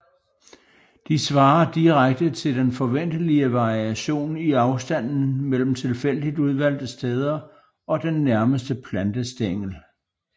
De svarer direkte til den forventelige variation i afstanden mellem tilfældigt udvalgte steder og den nærmeste plantestængel